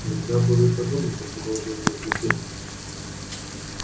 нельзя было и подумать о продолжении пути